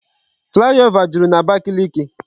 Flyover jụrụ n'Abakiliki